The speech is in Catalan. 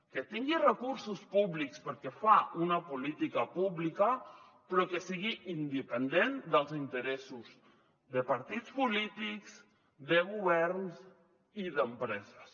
que tingui recursos públics perquè fa una política pública però que sigui independent dels interessos de partits polítics de governs i d’empreses